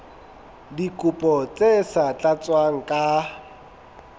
dikopo tse sa tlatswang ka